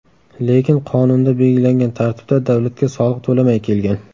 Lekin qonunda belgilangan tartibda davlatga soliq to‘lamay kelgan.